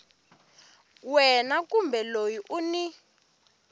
wena kumbe loyi u n